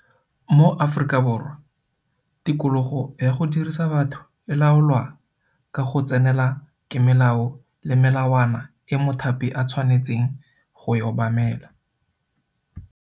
Mo Afrikaborwa tikologo ya go dirisa batho e laolwa ka go tsenelela ke melao le melawana e mothapi a tshwanetseng go e obamela.